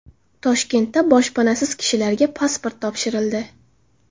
Toshkentda boshpanasiz kishilarga pasport topshirildi.